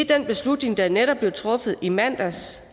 den beslutning der netop blev truffet i mandags